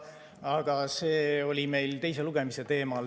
Aga see oli meil teise lugemise teema.